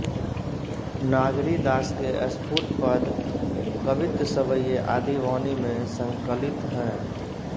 नागरीदास के स्फुट पद कवित्त सवैये आदि वाणी में संकलित हैं